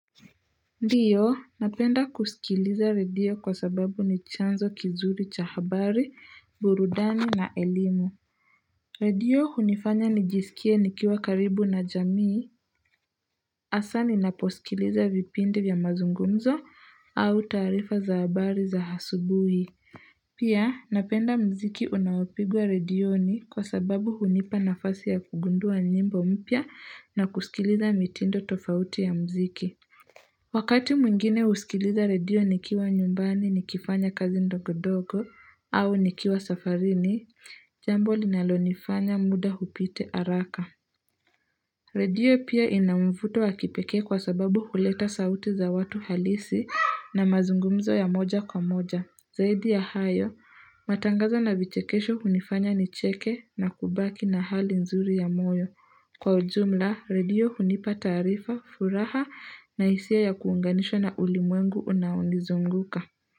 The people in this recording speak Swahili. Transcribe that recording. Ndiyo, napenda kusikiliza radio kwa sababu ni chanzo kizuri cha habari, burudani na elimu. Radio hunifanya nijisikie nikiwa karibu na jamii, hasa ninaposikiliza vipindi vya mazungumzo au taarifa za habari za asubuhi. Pia, napenda mziki unaopigwa redioni kwa sababu hunipa nafasi ya kugundua nyimbo mpya na kusikiliza mitindo tofauti ya mziki. Wakati mwingine huskiliza redio nikiwa nyumbani ni kifanya kazi ndogo ndogo au nikiwa safarini, jambo linalo nifanya muda upite haraka. Redio pia inamvuto wa kipekee kwa sababu huleta sauti za watu halisi na mazungumzo ya moja kwa moja. Zaidi ya hayo, matangazo na vichekesho hunifanya nicheke na kubaki na hali nzuri ya moyo. Kwa ujumla, radio hunipa taarifa, furaha na hisia ya kuunganishwa na ulimwengu unaonizunguka.